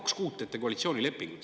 Kaks kuud teete koalitsioonilepingut.